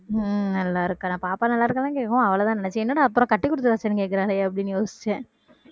உம் நல்லா இருக்காடா பாப்பா நல்லா இருக்கான்னு கேட்கவும் அவளதான் நினைச்ச என்னடா அப்பறம் கட்டி கொடுத்தாச்சானு கேக்கறாளேனு அப்படின்னு யோசிச்சேன்